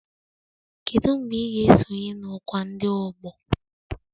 Kedu mgbe ị ga-esonye na ọkwa ndị ọgbọ